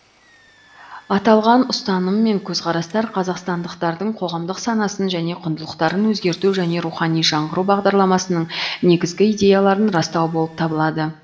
аталған ұстаным мен көзқарастар қазақстандықтардың қоғамдық санасын және құндылықтарын өзгерту және рухани жаңғыру бағдарламасының негізгі идеяларын растау болып табылады